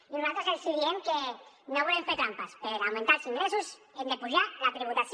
i nosaltres els diem que no volem fer trampes per augmentar els ingressos hem d’apujar la tributació